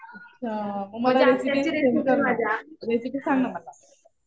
हा. मग मला रेसिपी सेंड कर ना. रेसिपी सांग ना मला.